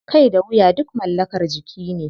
Kai da wuya duk mallakar jiki ne.